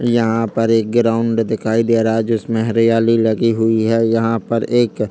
यहाँ पर एक ग्राउड दिखाई दे रहा है जिसमे हरियाली लगी हुई है यहाँ पर एक--